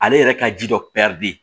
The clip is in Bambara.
Ale yɛrɛ ka ji dɔ de